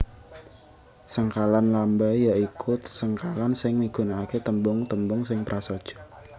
Sengkalan lamba ya iku sengkalan sing migunakaké tembung tembung sing prasaja